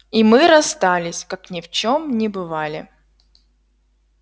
и мы расстались как ни в чем не бывали